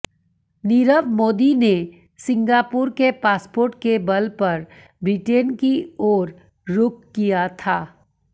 नीरव मोदी ने सिंगापुर के पासपोर्ट के बल पर ब्रिटेन की ओर रुख किया था